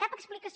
cap explicació